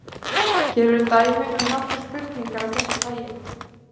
Hér eru dæmi um nokkrar spurningar af þessu tagi: